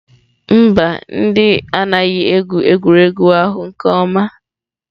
Mba, ndị anaghị egwu egwuregwu ahụ nke ọma.